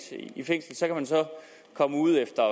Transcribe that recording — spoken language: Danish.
i fængslet komme ud efter